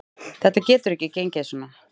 Þetta getur ekki gengið svona.